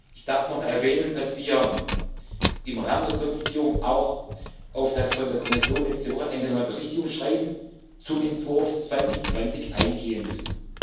Ich darf noch mal erwähnen, dass wir im Rahmen der Konzertierung auch auf das von der Kommission letzte Woche angenommene Berichtigungsschreiben zum Entwurf 2020 eingehen